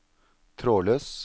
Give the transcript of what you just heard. trådløs